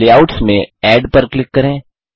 layouts में add पर click करें